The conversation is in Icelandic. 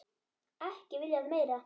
Ekki viljað meira.